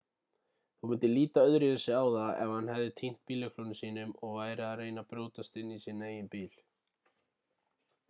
þú myndir líta öðruvísi á það ef hann hefði týnt bíllyklunum sínum og væri að reyna að brjótast inn í sinn eigin bíl